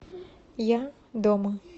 я дома